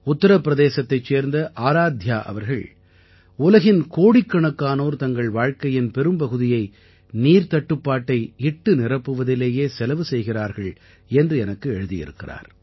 உத்திரப்பிரதேசத்தைச் சேர்ந்த ஆராத்யா அவர்கள் உலகின் கோடிக்கணக்கானோர் தங்கள் வாழ்க்கையின் பெரும் பகுதியை நீர்த் தட்டுப்பாட்டை இட்டுநிரப்புவதிலேயே செலவு செய்கிறார்கள் என்று எனக்கு எழுதியிருக்கிறார்